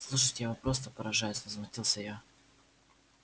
слушайте я вам просто поражаюсь возмутился я